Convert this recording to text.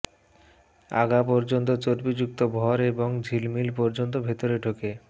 আগা পর্যন্ত চর্বিযুক্ত ভর এবং ঝিলিমিলি পর্যন্ত ভেতরে ঢোকে